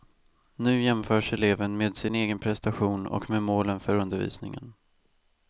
Nu jämförs eleven med sin egen prestation och med målen för undervisningen.